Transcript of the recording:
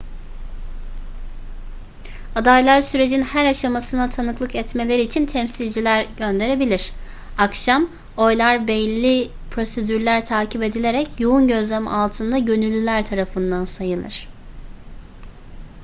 adaylar sürecin her aşamasına tanıklık etmeleri için temsilciler gönderebilir akşam oylar belli prosedürler takip edilerek yoğun gözlem altında gönüllüler tarafından sayılır